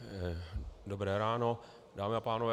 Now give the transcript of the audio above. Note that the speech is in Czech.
Dobré ráno, dámy a pánové.